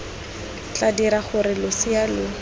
tla dira gore losea lo